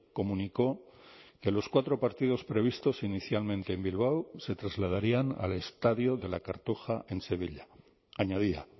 comunicó que los cuatro partidos previstos inicialmente en bilbao se trasladarían al estadio de la cartuja en sevilla añadía